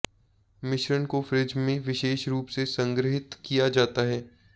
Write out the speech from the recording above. मिश्रण को फ्रिज में विशेष रूप से संग्रहीत किया जाता है